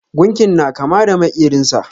Gunkin na kama da makerin sa.